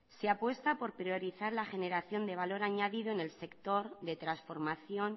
se apuesta por priorizar la generación de valor añadido en el sector de transformación